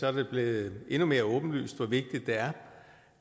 er det blevet endnu mere åbenlyst hvor vigtigt det er